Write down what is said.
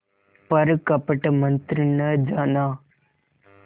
पर कपट मन्त्र न जाना